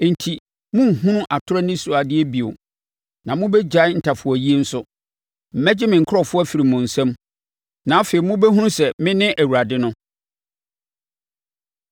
enti, morenhunu atorɔ anisoadeɛ bio na mobɛgyae ntafowayie nso. Mɛgye me nkurɔfoɔ afiri mo nsa mu, na afei mobɛhunu sɛ me ne Awurade no.’ ”